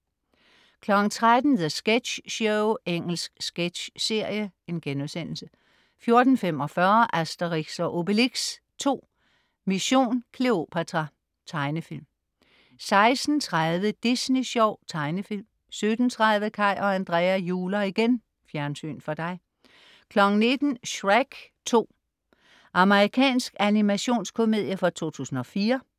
13.00 The Sketch Show. Engelsk sketchserie* 14.45 Asterix & Obelix 2: Mission Kleopatra. Tegnefilm 16.30 Disney Sjov. Tegnefilm 17.30 Kaj og Andrea juler igen!. Fjernsyn for dig 19.00 Shrek 2. Amerikansk animationskomedie fra 2004